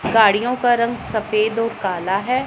गाड़ियों का रंग सफेद और काला है।